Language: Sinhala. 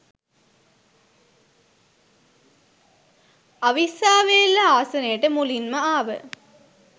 අවිස්සාවේල්ල ආසනේට මුලින්ම ආව